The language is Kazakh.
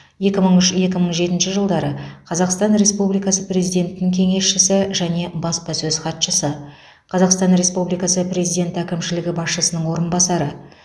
екі мың үш екі мың жетінші жылдары қазақстан республикасы президентінің кеңесшісі және баспасөз хатшысы қазақстан республикасы президенті әкімшілігі басшысының орынбасары